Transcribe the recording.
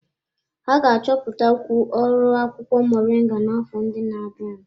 Ha ga-achọpụtakwu ọrụ akwụkwọ moringa n'afọ ndị na-abịa.